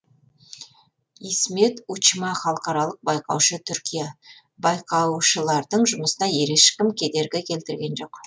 исмет учма халықаралық байқаушы түркия байқаушылардың жұмысына ешкім кедергі келтірген жоқ